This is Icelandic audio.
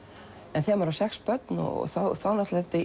en þegar maður á sex börn þá